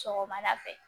Sɔgɔmada fɛ